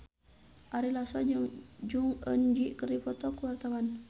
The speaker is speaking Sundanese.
Ari Lasso jeung Jong Eun Ji keur dipoto ku wartawan